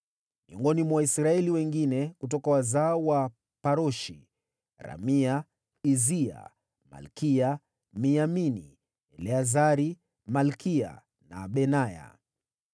Miongoni mwa Waisraeli wengine: Kutoka wazao wa Paroshi: Ramia, Izia, Malkiya, Miyamini, Eleazari, Malkiya na Benaya.